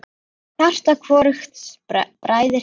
Hjarta hvorugs bræðir hitt.